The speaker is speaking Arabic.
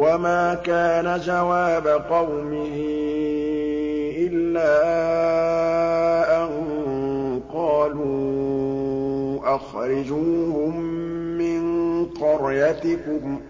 وَمَا كَانَ جَوَابَ قَوْمِهِ إِلَّا أَن قَالُوا أَخْرِجُوهُم مِّن قَرْيَتِكُمْ ۖ